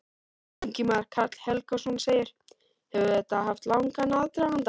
Ingimar Karl Helgason: Hefur þetta haft langan aðdraganda?